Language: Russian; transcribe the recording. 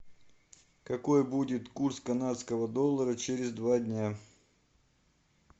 какой будет курс канадского доллара через два дня